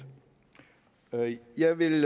jeg vil